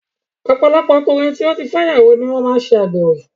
Ọ̀pọ̀lọpọ̀ ọkùnrin tí ó ti fẹ́ ìyàwó ni wọ́n máa ń ṣe àgbèrè